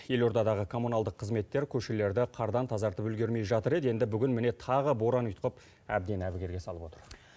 елордадағы коммуналдық қызметтер көшелерді қардан тазартып үлгермей жатыр еді енді бүгін міне тағы боран ұйтқып әбден әбігерге салып отыр